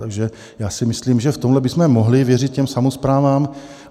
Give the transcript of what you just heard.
Takže já si myslím, že v tomhle bychom mohli věřit těm samosprávám.